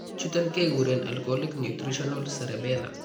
Chuton keguren alcoholic/nutritional cerebellar